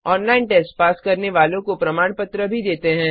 online test pass करने वालों को प्रमाण पत्र भी देते हैं